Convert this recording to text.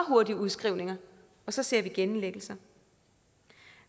hurtige udskrivninger og så ser vi genindlæggelser